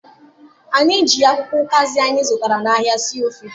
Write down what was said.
Anyị ji akwụkwọ ụkazị anyị zụtara n'ahịa sie ofe.